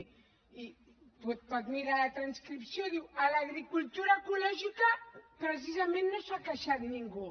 i pot mirar la transcripció diu a l’agricultura ecològica precisament no s’ha queixat ningú